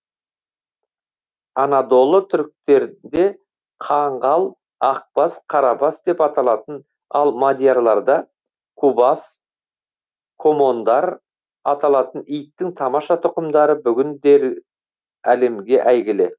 анадолы түріктерінде қаңғал ақбас қарабас деп аталатын ал мадьярларда кубас комондор аталатын иттің тамаша тұқымдары бүгіндері әлемге әйгілі